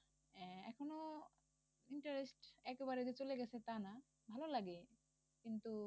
আহ এখনো interest একেবারে চলে গেছে তা না ভালো লাগে কিন্তু